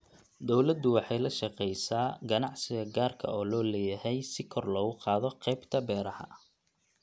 Dawladdu waxay la shaqaysaa ganacsiga gaarka loo leeyahay si kor loogu qaado qaybta beeraha.